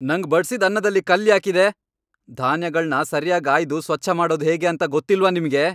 ನಂಗ್ ಬಡ್ಸಿದ್ ಅನ್ನದಲ್ಲಿ ಕಲ್ಲ್ ಯಾಕಿದೆ? ಧಾನ್ಯಗಳ್ನ ಸರ್ಯಾಗ್ ಆಯ್ದು ಸ್ವಚ್ಛ ಮಾಡೋದ್ ಹೇಗೆ ಅಂತ ಗೊತ್ತಿಲ್ವಾ ನಿಮ್ಗೆ?